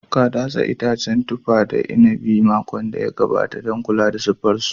Ka datse itacen tufa da na inabi a makon da ya gabata don kula da siffar su.